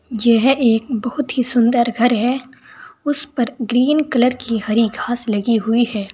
यह एक बोहोत ही सुंदर घर है उस पर ग्रीन कलर की हरी घास लगी हुई है।